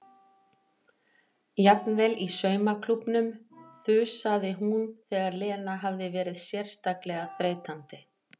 Jafnvel í saumaklúbbnum þusaði hún þegar Lena hafði verið sérstaklega þreytandi.